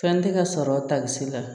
Fɛn tɛ ka sɔrɔ takisi la